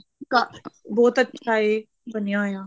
ਕਾ ਬਹੁਤ ਅੱਛਾ ਏ ਬਣਿਆ ਹੋਇਆ